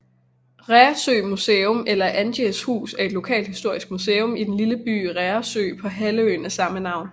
Reersø Museum eller Andræjs hus er et lokalhistorisk museum i den lille by Reersø på halvøen af samme navn